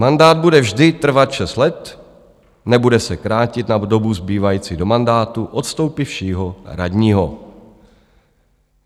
Mandát bude vždy trvat šest let, nebude se krátit na dobu zbývající do mandátu odstoupivšího radního.